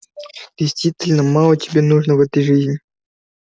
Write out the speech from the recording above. действительно мало тебе нужно в этой жизни